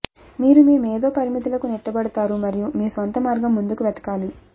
మీరు మీ మేధో పరిమితులకు నెట్టబడతారు మరియు మీ స్వంత మార్గం ముందుకు వెతకాలి